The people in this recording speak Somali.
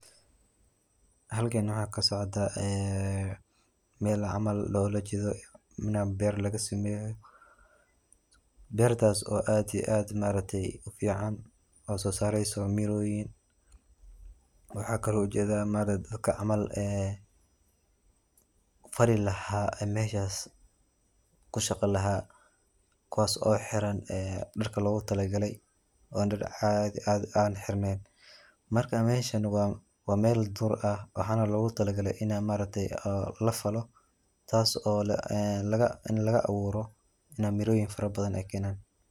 Halkani waxaa kasocota ee mel camal lolajeeda in beer lagasameyo beertaso oo aad iyo aad ma aragtay u fican oo sosareyso mirooyin waxaa kalo u jeeda ma aragte dadka camal ee fali laha meshas ku shaqa laha kuwas oo xiran dharka logutalagalay oo dhar caadi aan xirneyn. Marka meshan waa mel dur ah waxaana logutalagalay ina ma aragtay ina lafalo taas oo ee in laga abuuro ina mirooyin fara badan ay keenan.